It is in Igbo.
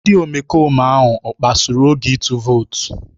Ndị omekome ahụ ọ kpasuru oge ịtụ vootu?